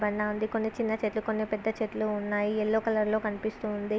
ఉంది కొన్ని చిన్న చెట్లు కొన్ని పెద్ద చెట్లు ఉన్నాయి ఎల్లో కలర్ లో కనిపిస్తుంది.